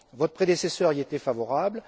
Votre prédécesseur y était favorable.